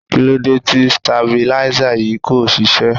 Kí ló dé tí stabilizer yìí kò ṣiṣẹ́?